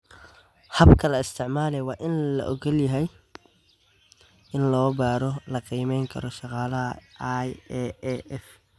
Habka la isticmaali waa in la oggol yahay oo la baaraa oo la qiimayn karo shaqaalaha IAAF.